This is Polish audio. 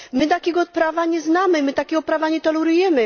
My takiego prawa nie znamy, my takiego prawa nie tolerujemy.